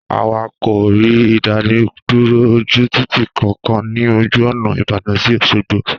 Àwa kò rí ìdánidúró ojú Títì kan kan ni ojú ònà ìbàdàn sí Òṣogbo